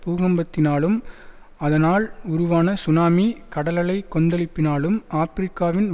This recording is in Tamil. பூகம்பத்தினாலும் அதனால் உருவான சுனாமி கடலலைக் கொந்தளிப்பினாலும் ஆபிரிக்காவின்